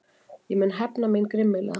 Ég mun hefna mín grimmilega.